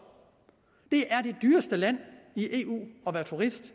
det er det dyreste land i eu at være turist